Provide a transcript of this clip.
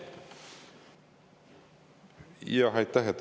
Aitäh!